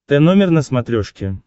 тномер на смотрешке